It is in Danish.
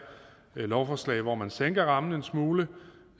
lovforslag hvor man sænker rammen en smule